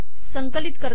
संकलित करते